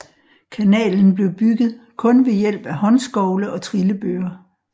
Kanalen blev bygget kun ved hjælp af håndskovle og trillebøre